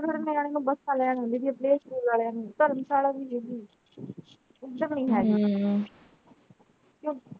ਫਿਰ ਮੈਂ bus ਵਾਲਿਆਂ ਨੂੰ playschool ਵਾਲਿਆਂ ਨੂੰ ਧਰਮਸ਼ਾਲਾ ਨਹੀਂ ਹੈਗੀ ਹਮ